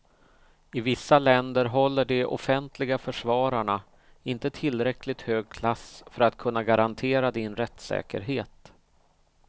I vissa länder håller de offentliga försvararna inte tillräckligt hög klass för att kunna garantera din rättssäkerhet.